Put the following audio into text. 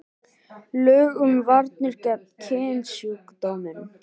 Lög um varnir gegn kynsjúkdómum.